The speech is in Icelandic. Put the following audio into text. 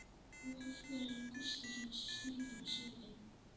Og af hverju er Gústi svona skrýtinn á svipinn?